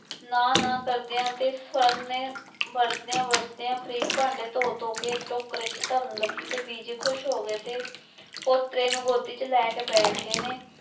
ਨਾ ਨਾ ਕਰਦਿਆਂ ਤੇ ਸਰਨ ਨੇ ਵਰਦਿਆਂ ਵਰਦਿਆਂ ਪ੍ਰੀਤ ਭਾਂਡੇ ਧੋ ਧੋ ਕੇ ਟੋਕਰੇ ਚ ਧਰਨ ਲੱਗੀ ਤੇ ਬੀਜੀ ਖ਼ੁਸ਼ ਹੋ ਗਏ ਤੇ ਪੋਤਰੇ ਨੂੰ ਗੋਦੀ ਚ ਲੈ ਕੇ ਬੈਠ ਗਏ ਨੇ।